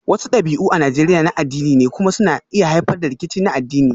Wasu dabi'u a Najeriya na addini ne kuma suna iya haifar da rikici na addini